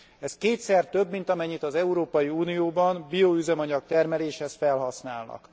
Ez kétszer több, mint amennyit az Európai Unióban bioüzemanyag termeléshez felhasználnak.